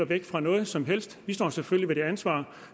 væk fra noget som helst vi står selvfølgelig ved det ansvar